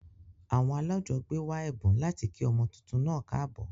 Àwon alájogbé wa èbùn láti kí ọmọ tuntun naa káàbò